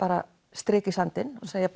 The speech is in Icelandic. strik í sandinn og segja